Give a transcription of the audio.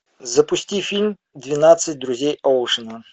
запусти фильм двенадцать друзей оушена